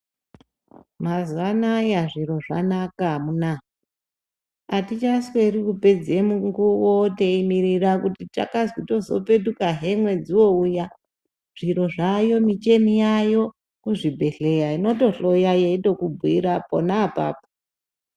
Mazuwa anaya zviro zvanaka amunaa. Atichisweri kupedza mukuwo teimirira kuti tikazwi tozopetukahe mwedzi wouya, zviro zvayo michini yayo kuzvibhehlera inotohloya inotokubhuira pona apapo.